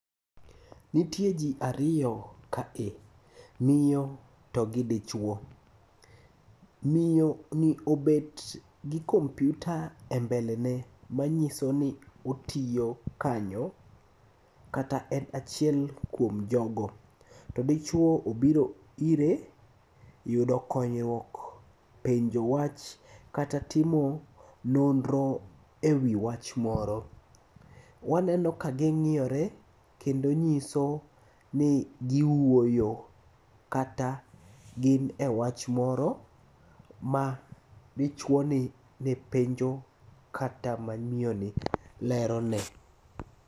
Nitie jii ariyo kae, miyo to gi dichuo. Miyoni obet gi kompyuta e mbele ne manyisoni otiyo kanyo kata en achiel kuom jogo. To dichuo obiro ire yudo konyruok, penjo wach kata timo nonro e wii wach moro. Waneno ka ging'iore kendo nyisoni giwuoyo kata gine wach moro ma dichuoni nepenjo kata mamioni lerone.